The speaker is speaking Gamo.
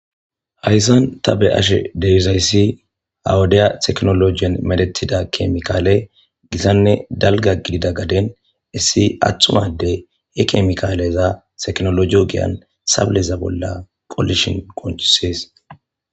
hayssan ta be ashe deizayssi awudiya teknologien medetida kemikaale gisanne dalga gidida gaden issi atthumade he kemikaaleza teknoloji ogeyan sableza bolla qolishin qoncisees